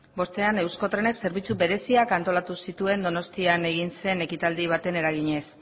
bostean euskotrenek zerbitzu bereziak antolatu zituen donostian egin zen ekitaldi baten eraginez